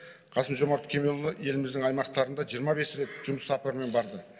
қасым жомарт кемелұлы еліміздің аймақтарында жиырма бес рет жұмыс сапарымен барды